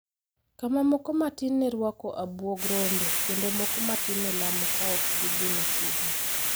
kama moko matin ne rwako abuog rombe kendo moko matin ne lamo ka ok gidhi machiegni,